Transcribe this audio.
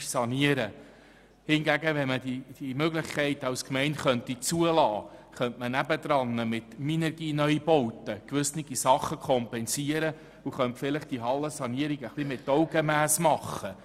Wenn aber die Gemeinde die Möglichkeit hätte, könnte man daneben mit Minergie-Neubauten gewisse Dinge kompensieren und die Sanierung der Hallen mit Augenmass vornehmen.